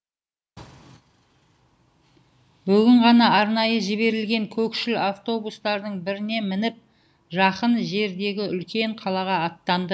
бүгін ғана арнайы жіберілген көкшіл автобустардың біріне мініп жақын жердегі үлкен қалаға аттанды